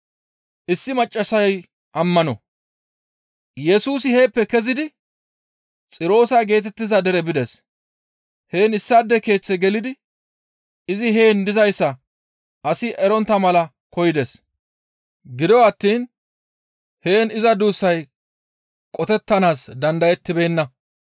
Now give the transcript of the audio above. Yesusi heeppe kezidi Xiroose geetettiza dere bides; heen issaade keeththe gelidi izi heen dizayssa asi erontta mala koyides. Gido attiin izi heen iza duussay qotettanaas dandayettibeenna.